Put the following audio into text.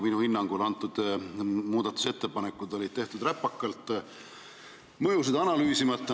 Minu hinnangul olid muudatusettepanekud tehtud räpakalt ja mõjusid analüüsimata.